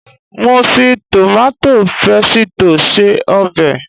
Mo fi tòmátò pésìtì se ọbẹ̀